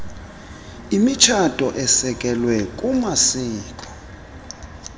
imitshato esekelwe kumasiko